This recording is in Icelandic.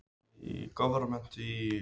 Var erfitt að fá hana?